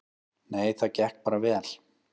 Nei, það gekk bara vel.